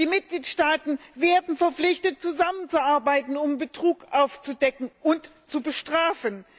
Die Mitgliedstaaten werden verpflichtet zusammenzuarbeiten, um Betrug aufzudecken und zu bestrafen.